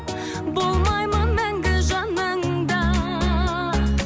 болмаймын мәңгі жаныңда